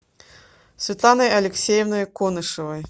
светланой алексеевной конышевой